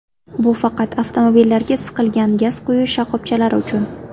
Bu faqat avtomobillarga siqilgan gaz quyish shoxobchalari uchun.